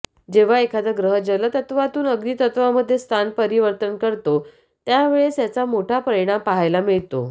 जेव्हा एखादा ग्रह जलतत्त्वातून अग्नितत्त्वामध्ये स्थान परिवर्तन करतो त्यावेळेस याचा मोठा परिणाम पाहायला मिळतो